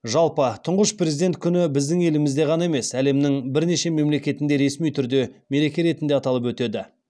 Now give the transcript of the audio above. жалпы тұңғыш президент күні біздің елімізде ғана емес әлемнің бірнеше мемлекетінде ресми түрде мереке ретінде аталып өтеді